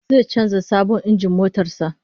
Zai canza sabon injin motar sa